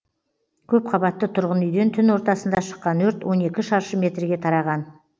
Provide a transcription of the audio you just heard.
көпқабатты тұрғын үйден түн ортасында шыққан өрт он екі шаршы метрге тараған